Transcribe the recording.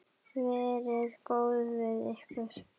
Verið góð við ykkur.